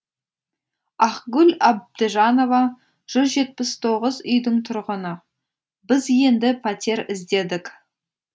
ақгүл әбдіжанова жүз жетпіс тоғыз үйдің тұрғыны біз енді пәтер іздедік